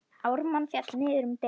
Ármann féll niður um deild.